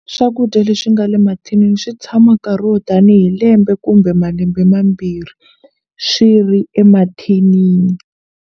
Swakudya leswi nga le mathinini swi tshama nkarhi wo tanihi lembe kumbe malembe mambirhi swi ri emathinini.